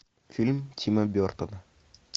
фильм тима бертона